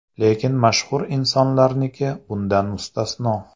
Lekin mashhur insonlarniki bundan mustasno.